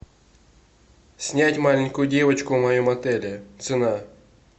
снять маленькую девочку в моем отеле цена